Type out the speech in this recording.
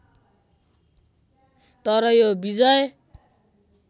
तर यो विजय